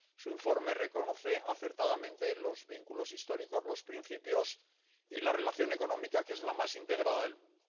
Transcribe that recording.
Su informe reconoce acertadamente los vínculos históricos, los principios y la relación económica, que es la más integrada del mundo.